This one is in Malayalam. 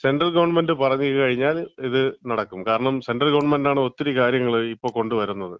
സെൻട്രൽ ഗവൺമെന്‍റ് പറഞ്ഞ് കഴിഞ്ഞാല് ഇത് നടക്കും. കാരണം സെൻട്രൽ ഗവൺമെന്‍റാണ് ഒത്തിരി കാര്യങ്ങൾ ഇപ്പം കൊണ്ടുവരുന്നത്.